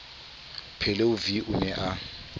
pheleu v o ne a